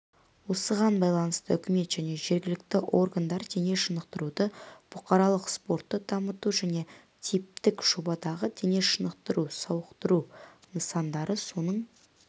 осыған байланысты үкімет және жергілікті органдар дене шынықтыруды бұқаралық спортты дамыту және типтік жобадағы денешынықтыру-сауықтыру нысандары соның